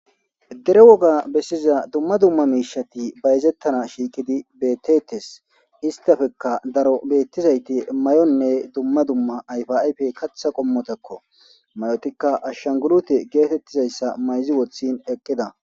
dere woga bessiza dumma dumma miishati bayezettana shiikidi beetetes istafekka daro bettizayti may7onne dumma dumma ayfayfe katha qommotakko mayotikka ashshangulute geetettizayssa mayzi wothin eqqida